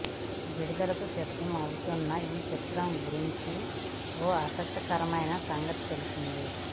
విడుదలకు సిద్దం అవుతున్న ఈ చిత్రం గురించి ఓ ఆసక్తికరైన సంగతి తెలిసింది